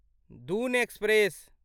Doon express